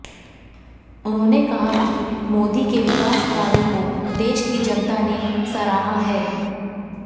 उन्होंने कहा कि मोदी के विकास कार्यों को देश की जनता ने सराहा है